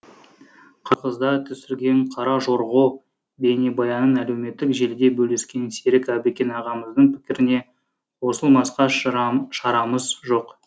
қырғыздар түсірген кара жорго бейнебаянын әлеуметтік желіде бөліскен серік әбікен ағамыздың пікіріне қосылмасқа шарамыз жоқ